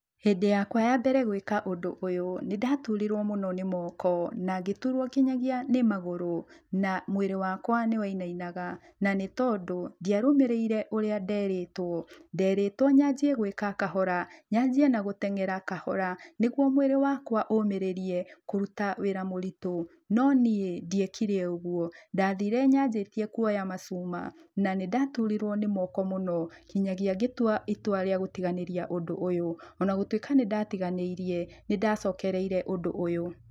Hĩndĩ yakwa ya mbere gwĩka ũndũ ũyũ, nĩ ndaturirwo mũno nĩ moko, na ngĩturwo nginyagia nĩ magũrũ, na mwĩrĩ wakwa, nĩ wainainaga, na nĩtondu ndiarũmĩrĩire ũria nderĩtwo, nderĩtwo nyanjie gwĩka kahora, nyanjie na gũtengera kahora, nĩgwo mwĩrĩ wakwa ũmĩrĩrie kũruta wĩra mũritũ, no niĩ ndiekire ũguo, ndathire nyajĩtie kuoya macuma, na nĩndaturirwo nĩmoko mũno nginyagia ngĩtua itua rĩa gũtiganĩria ũndũ ũyũ, ona gũtuĩka nĩ ndatiganĩirie, nĩ ndacokereire ũndũ ũyũ.